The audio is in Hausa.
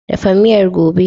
Dafa miyar gobe!